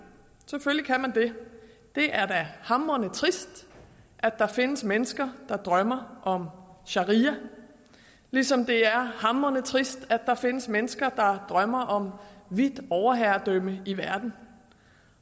det det er da hamrende trist at der findes mennesker der drømmer om sharia ligesom det er hamrende trist at der findes mennesker der drømmer om hvidt overherredømme i verden